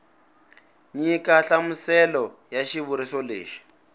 nyika nhlamuselo ya xivuriso lexi